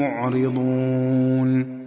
مُّعْرِضُونَ